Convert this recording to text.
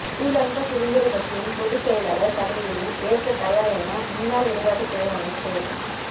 ஸ்ரீலங்கா சுதந்திர கட்சியின் பொதுச் செயலாளர் பதவியினை ஏற்க தயார் என முன்னாள் விளையாட்டுத் துறை அமைச்